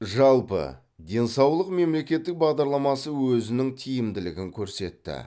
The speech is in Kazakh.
жалпы денсаулық мемлекеттік бағдарламасы өзінің тиімділігін көрсетті